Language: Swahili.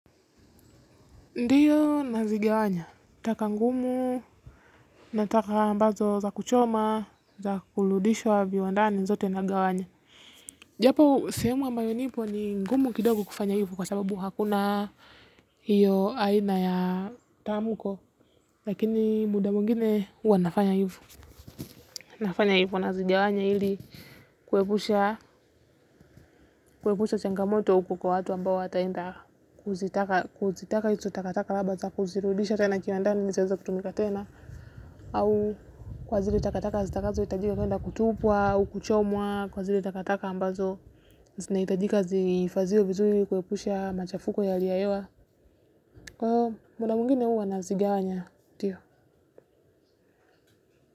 Ndio, nazigawanya taka ngumu, na taka ambazo za kuchoma, za kurudishwa viwandani zote nagawanya. Japo sehemu ambayo nipo ni ngumu kidogo kufanya hivo, kwa sababu hakuna hio aina ya tamko, lakini muda mwingine huwa nafanya hivo. Nafanya hivo, nazigawanya ili kuepusha changamoto kwa watu ambao wataenda kuzirudisha hizo taka kiwandani ili zitumike tena au kwa zile takataka zitakazohitajika kwenda kutupwa au kuchomwa. Kwa zile takataka ambazo zinahitajika zifahidhiwe vizuri ili kuepusha machafuko ya hali ya hewa. Kwa hio muda mwingine huwa nazigawanya. Ndio.